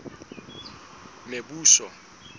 mebuso